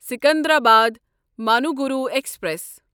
Secunderabad Manuguru express